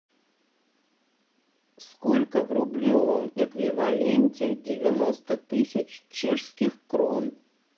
сколько в рублевом эквиваленте девяносто тысяч чешских крон